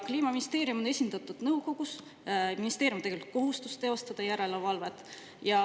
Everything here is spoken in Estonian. Kliimaministeerium on nõukogus esindatud ja ministeeriumil on tegelikult kohustus teostada järelevalvet.